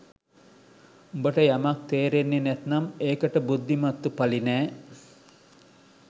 උඹට යමක් තේරෙන්නේ නැත්නම් ඒකට බුද්ධිමත්තු පළි නෑ